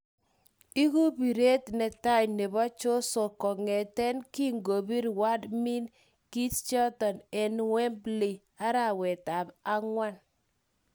Igu piret ne tai nepo joshuo kongeten kingopir Wladimir Klitschko en wembley arwet ap angwan